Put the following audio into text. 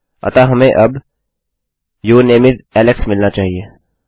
अतः हमें अब यूर नामे इस एलेक्स मिलना चाहिए